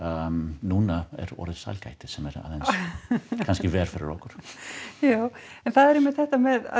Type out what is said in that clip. núna er orðið sælgæti sem er kannski verra fyrir okkur já en það er einmitt þetta með að